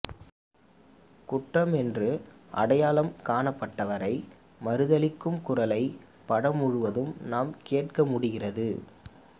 குற்றம் என்று அடையாளம் காணப்பட்டவற்றை மறுதலிக்கும் குரலை படம் முழுவதும் நாம் கேட்க முடிகிறது